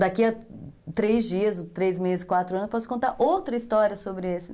Daqui a três dias, três meses, quatro anos, eu posso contar outra história sobre isso.